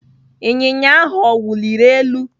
Ịnyịnya ahụ ọ wuliri elu?